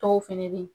Dɔw fɛnɛ be ye